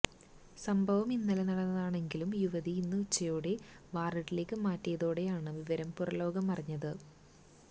സംഭവം ഇന്നലെ നടന്നതാണെങ്കിലും യുവതിയെ ഇന്ന് ഉച്ചയോടെ വാര്ഡിലേക്ക് മാറ്റിയതോടെയാണ് വിവരം പുറംലോകമറിഞ്ഞത്